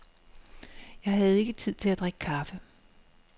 Jeg havde ikke tid til at drikke kaffe.